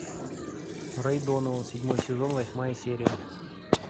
рэй донован седьмой сезон восьмая серия